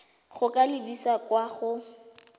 go ka lebisa kwa go